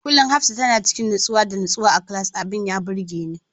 Kullum Hafsah tana cikin nutsuwa da nutsuwa a class, abin ya burgeni.